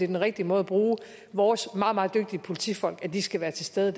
den rigtige måde at bruge vores meget meget dygtige politifolk at de skal være til stede